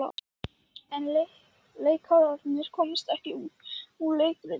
En leikararnir komast ekki út úr leikritinu.